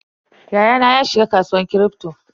Yayana ya shiga kasuwar Kripto.